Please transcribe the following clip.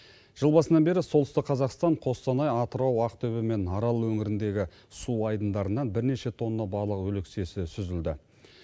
жыл басынан бері солтүстік қазақстан қостанай атырау ақтөбе мен арал өңіріндегі су айдындарынан бірнеше тонна балық өлексесі сүзілді